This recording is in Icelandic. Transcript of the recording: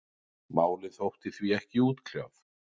Málið þótti því ekki útkljáð.